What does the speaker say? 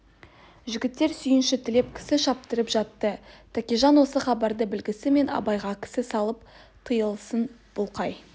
жігітек сүйінші тілеп кісі шаптырып жатты тәкежан осы хабарды білісімен абайға кісі салып тыйылсын бұл қай